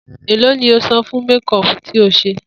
Èló ni o san fún méko̩ò̩pù tí o s̩e?